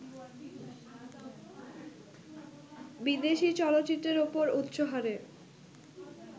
বিদেশি চলচ্চিত্রের ওপর উচ্চহারে